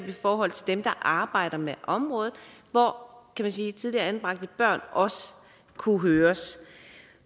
i forhold til dem der arbejder med området hvor tidligere anbragte børn også kunne høres